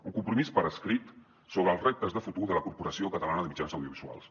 un compromís per escrit sobre els reptes de futur de la corporació catalana de mitjans audiovisuals